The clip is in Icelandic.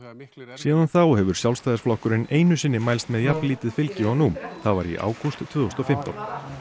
síðan þá hefur Sjálfstæðisflokkurinn einu sinni mælst með jafn lítið fylgi og nú það var í ágúst tvö þúsund og fimmtán